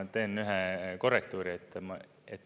Ma teen ühe korrektuuri.